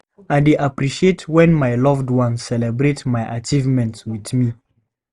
I dey appreciate when my loved ones celebrate my achievements with me.